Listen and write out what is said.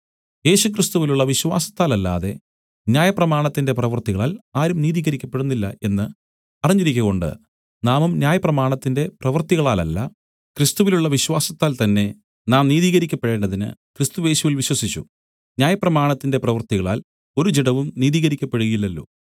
യേശുക്രിസ്തുവിലുള്ള വിശ്വാസത്താലല്ലാതെ ന്യായപ്രമാണത്തിന്റെ പ്രവൃത്തികളാൽ ആരും നീതികരിക്കപ്പെടുന്നില്ല എന്ന് അറിഞ്ഞിരിക്കകൊണ്ട് നാമും ന്യായപ്രമാണത്തിന്റെ പ്രവൃത്തികളാലല്ല ക്രിസ്തുവിലുള്ള വിശ്വാസത്താൽ തന്നെ നാം നീതീകരിക്കപ്പെടേണ്ടതിന് ക്രിസ്തുയേശുവിൽ വിശ്വസിച്ചു ന്യായപ്രമാണത്തിന്റെ പ്രവൃത്തികളാൽ ഒരു ജഡവും നീതീകരിക്കപ്പെടുകയില്ലല്ലോ